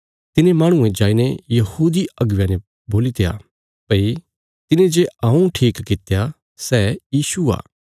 तिने माहणुये जाईने यहूदी अगुवेयां ने बोलित्या भई तिने जे हऊँ ठीक कित्या सै यीशु आ